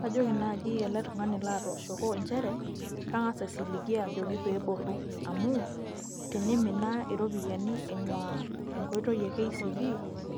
kajoki naaji ele tungani latooshoko nchere, kangas aisiligie pee eboru, amu tenimina iropiyiani eing'uaa enkoitoi e kcb